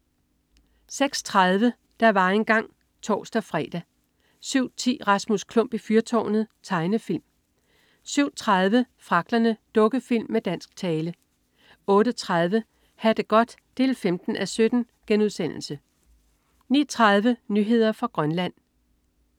06.30 Der var engang (tors-fre) 07.10 Rasmus Klump i fyrtårnet. Tegnefilm 07.30 Fragglerne. Dukkefilm med dansk tale 08.30 Ha' det godt 15:17* 09.30 Nyheder fra Grønland